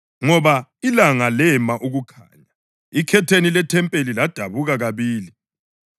ngoba ilanga lema ukukhanya. Ikhetheni lethempeli ladabuka kabili.